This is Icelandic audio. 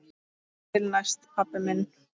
Þar til næst, pabbi minn.